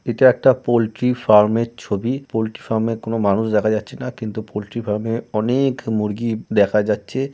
এটা একটা পোল্ট্রি ফার্মের ছবি পোল্ট্রি ফার্মের কোন মানুষ দেখা যাচ্ছে না কিন্তু পোল্ট্রি ফার্মে অনেক-অ মুরগি দেখা যাচ্ছে।